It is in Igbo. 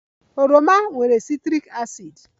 Oroma nwere citric acid